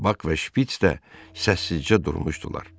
Bak və Şpiç də səssizcə durmuşdular.